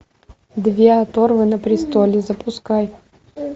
две оторвы на престоле запускай